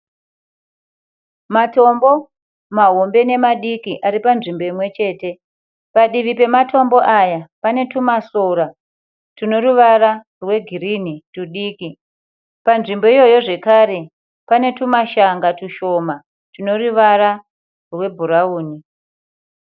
Matombo mahombe nemadiki ari panzvimbo imwechete. Padivi pematombo aya pane twumasora twunoruvara rwegirinhi twudiki. Panzvimbo iyoyo zvakare pane twumashanga twushoma twunoruvara rwebhurauni.